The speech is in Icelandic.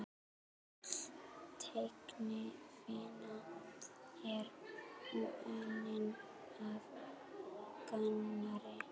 Öll teiknivinna er unnin af Gunnari